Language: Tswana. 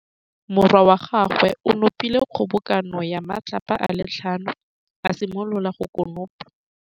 Morwa wa gagwe o nopile kgobokanô ya matlapa a le tlhano, a simolola go konopa.